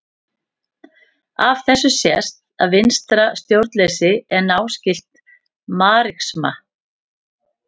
Af þessu sést að vinstra stjórnleysi er náskylt marxisma.